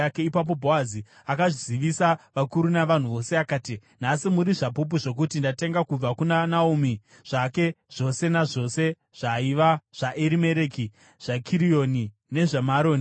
Ipapo Bhoazi akazivisa vakuru navanhu vose akati, “Nhasi muri zvapupu zvokuti ndatenga kubva kuna Naomi zvake zvose nazvose zvaiva zvaErimereki, zvaKirioni nezvaMaroni.